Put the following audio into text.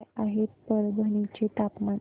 काय आहे परभणी चे तापमान